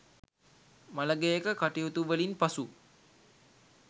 මළගෙයක කටයුතු වලින් පසු